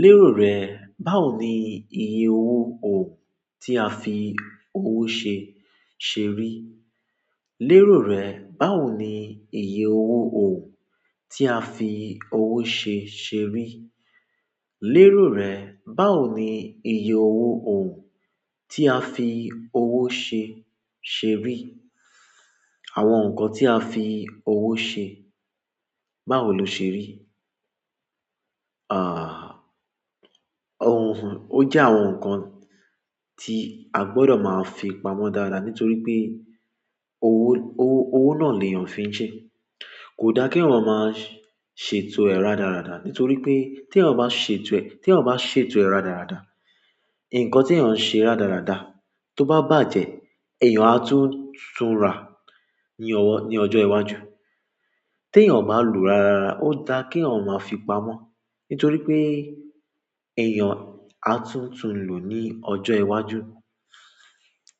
Lérò rẹ̀, báwo ni iye owó owo tí a fi owó ṣe, ṣe rí? Lérò rẹ̀, báwo ni iye owó òhùn tí a fi owó ṣe, ṣe rí? Lérò rẹ̀, báwo ni iye owó òhùn tí a fi owó ṣe, ṣe rí? Àwọn nǹkan tí a fi owó ṣe, báwo lo ṣe rí? Àh, òhùn, ó jẹ́ àwọn nǹkan tí a gbọdọ̀ máa fi pamọ́ dára nítorí pé owó, owó, owó náà ni èèyàn fi ń ṣe. Kò dáa kí èèyàn máa ṣètò ẹ̀ rádaràda nítorí pé tí èèyàn bá ṣètò ẹ̀, tí èèyàn bá ṣètò ẹ̀ rádaràda, nǹkan tí èèyàn ń ṣe rádaràda tó bá bàjẹ́, èèyàn á tún, tún rà ní ọwọ́, ní ọjọ́ iwájú. Tèèyàn bá lòó ráraràra, ó dáa kí èèyàn máa fi pamọ́ nítorí pé èèyàn á tún, tún lòó ní ọjọ́ iwájú.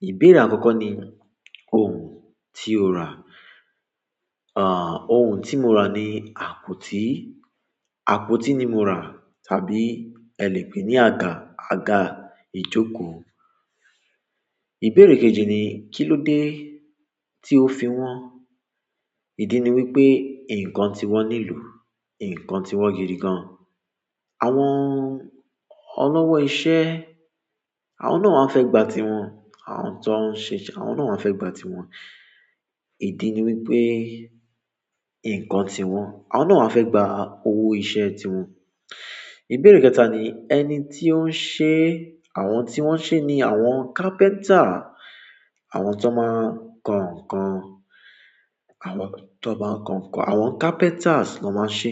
Ìbéèrè àkọ́kọ́ ni òhùn tí o rà? Àh, òhùn tí mo ra ni àpótí. Àpótí ni mo rà tàbí ẹlẹ̀pẹ̀ ní àga, àga ìjókòó. Ìbéèrè kejì ni kí ló dé tí o fi wọ́n? Ìdí ni wípé nǹkan tí wọ́n lelò, nǹkan tí wọ́n gidi gan. Àwọn olówó iṣẹ́, àwọn náà mọń fẹ́ gba ti wọn. Àwọn tó ń ṣeṣẹ, àwọn náà mọń fẹ́ gba ti wọn. Ìdí ni wípé nǹkan tí wọ́n, àwọn náà mọń fẹ́ gba owó iṣẹ́ ti wọn. Ìbéèrè kẹta ni ẹni tí ó ń ṣe àwọn tí wọ́n ṣe ni àwọn carpenter, àwọn tó máa ń kan ǹkan, àwọn tó máa ń kan ǹkan, àwọn carpenters ló máa ń ṣe.